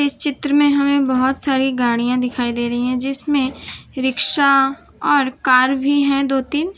चित्र में हमें बोहोत सारी गाड़ियां दिखाई दे रही है जिसमें रिक्शा और कार भी हैं दो तीन।